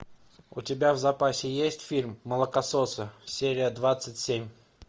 у тебя в запасе есть фильм молокососы серия двадцать семь